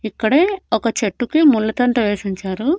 ఇక్కడే ఒక చెట్టుకి ముళ్ళ తంట వేసుంచారు.